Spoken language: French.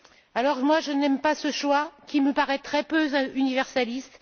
Alors, je n'aime pas ce choix qui me paraît très peu universaliste.